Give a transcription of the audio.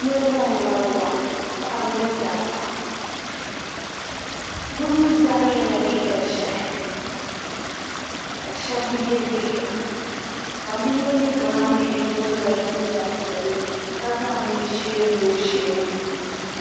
Niriba n wari waa paɣaba ni dabba bi mi zaa yela liiga ʒehi shab bi ye liiga ban bi ye liiga maa ni yino dola jinjam piɛlli ka zaŋ mi ʒee lo o sheeni.